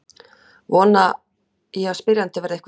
Vona ég að spyrjandi verði einhverju nær.